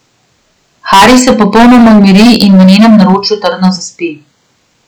Haris se popolnoma umiri in v njenem naročju trdno zaspi.